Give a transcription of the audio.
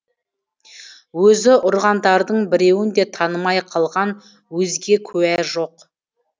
өзі ұрғандардың біреуін де танымай қалған өзге куә жоқ